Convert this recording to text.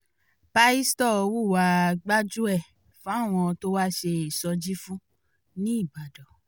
pásítọ̀ hùwàá gbájú-ẹ̀ fáwọn tó wá ṣe ìsọjí fún ńìbàdàn